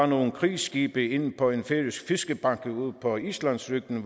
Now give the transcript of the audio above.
nogle krigsskibe ind på en færøsk fiskebanke ude på islandsryggen